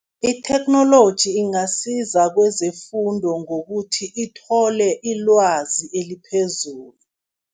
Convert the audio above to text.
Itheknoloji ingasiza kezefundo ngokuthi ithole ilwazi eliphezulu.